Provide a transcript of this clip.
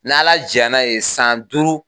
N' ala jɛn na ye san duuru.